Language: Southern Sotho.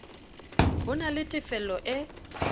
ho na le tefelo e